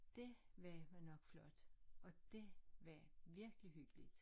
Dét var vel nok flot og dét var virkelig hyggeligt